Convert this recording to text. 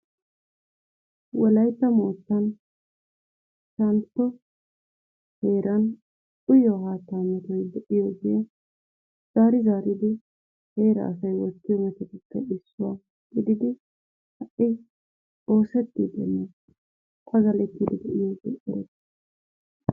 Wolaytta moottan Shantto heeran uyiyoo haattaa metoy de"iyoogee zaari zaaridi heeraa asay oyichchiyo metutuppe issuwa gididi ha"i oosettiiddinne pagalettiddi de"iyoogee erettiis.